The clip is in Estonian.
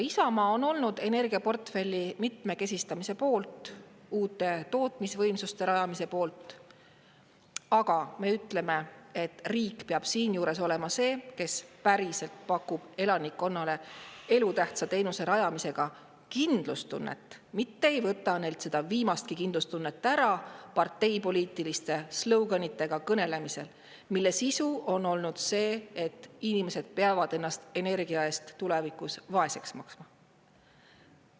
Isamaa on olnud energiaportfelli mitmekesistamise poolt, uute tootmisvõimsuste rajamise poolt, aga me ütleme, et riik peab siinjuures olema see, kes päriselt pakub elanikkonnale elutähtsa teenuse rajamisega kindlustunnet, mitte ei võta neilt seda viimastki kindlustunnet ära parteipoliitiliste slogan'itega kõnelemisel, mille sisu on olnud see, et inimesed peavad ennast energia eest tulevikus vaeseks maksma.